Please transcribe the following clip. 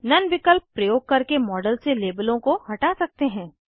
नोने विकल्प प्रयोग करके मॉडल से लेबलों को हटा सकते हैं